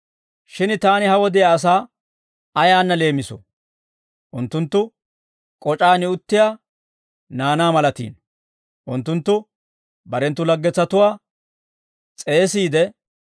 «Shin taani ha wodiyaa asaa ayaanna leemisoo? Unttunttu k'oc'aan uttiyaa naanaa malatiino; unttunttu barenttu laggetsatuwaa s'eesiide,